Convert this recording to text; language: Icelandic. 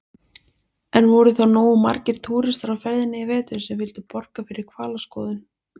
En voru þá nógu margir túristar á ferðinni í vetur sem vildu borga fyrir hvalaskoðun?